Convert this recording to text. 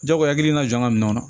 Jagoya hakilina jɔ ka minɛn kɔnɔ